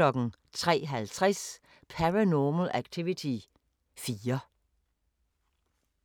03:50: Paranormal Activity 4